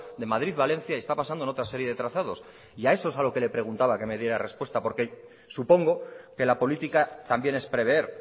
de madrid valencia y está pasando en otra serie de trazados y a eso es a lo que le preguntaba que me diera respuesta porque supongo que la política también es prever